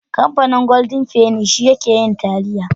Kamfanin Golden penny shi yake yin taliya.